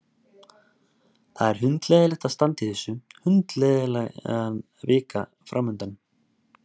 Það er hundleiðinlegt að standa í þessu, hundleiðinleg vika framundan.